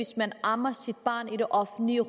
til at amme i det offentlige